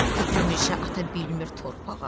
Köküm üşə ata bilmir torpağa.